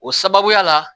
O sababuya la